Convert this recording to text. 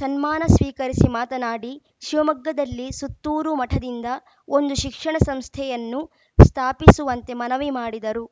ಸನ್ಮಾನ ಸ್ವೀಕರಿಸಿ ಮಾತನಾಡಿ ಶಿವಮೊಗ್ಗದಲ್ಲಿ ಸುತ್ತೂರು ಮಠದಿಂದ ಒಂದು ಶಿಕ್ಷಣ ಸಂಸ್ಥೆಯನ್ನು ಸ್ಥಾಪಿಸುವಂತೆ ಮನವಿ ಮಾಡಿದರು